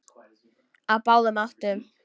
Á báðum áttum.